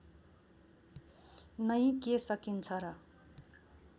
नै के सकिन्छ र